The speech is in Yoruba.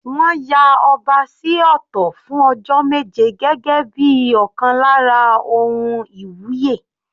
Wọ́n ya ọba sí ọ̀tọ̀ fún ọjọ́ méje gẹ́gẹ́ bíi ọ̀kan lára ohun iwuye.